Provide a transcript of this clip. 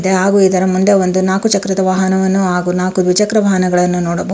ಹಾಗು ಇದರ ಮುಂದೆ ಒಂದು ನಾಲ್ಕು ಚಕ್ರದ ವಾಹನವನ್ನು ಹಾಗು ನಾಕು ದ್ವಿಚಕ್ರ ವಾಹನಗಳನ್ನು ನೋಡಬಹು --